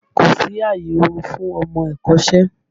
Kò sí àyè orun fún ọmọ ẹ̀kọ́ṣẹ́!